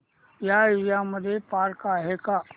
या एरिया मध्ये पार्क आहे का